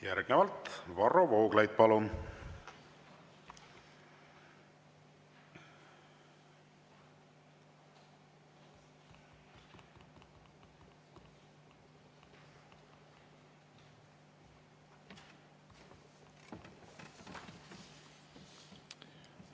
Järgnevalt Varro Vooglaid, palun!